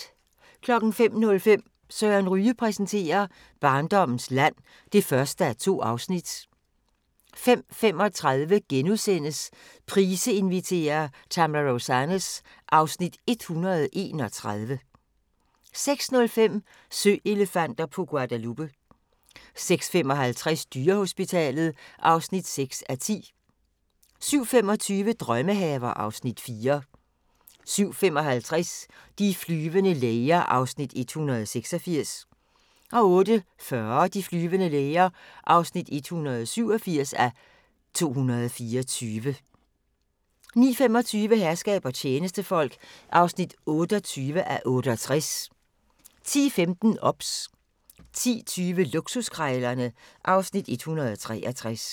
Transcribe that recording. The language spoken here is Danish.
05:05: Søren Ryge præsenterer: Barndommens land (1:2) 05:35: Price inviterer – Tamra Rosanes (Afs. 131)* 06:05: Søelefanter på Guadalupe 06:55: Dyrehospitalet (6:10) 07:25: Drømmehaver (Afs. 4) 07:55: De flyvende læger (186:224) 08:40: De flyvende læger (187:224) 09:25: Herskab og tjenestefolk (28:68) 10:15: OBS 10:20: Luksuskrejlerne (Afs. 163)